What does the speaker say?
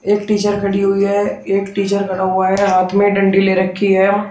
एक टीचर खड़ी हुई है एक टीचर खड़ा हुआ है हाथ में डंडी ले रखी है।